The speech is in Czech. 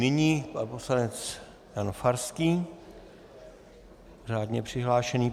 Nyní pan poslanec Jan Farský, řádně přihlášený.